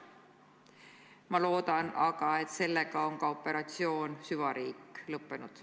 Ma loodan aga, et sellega on operatsioon "Süvariik" lõppenud.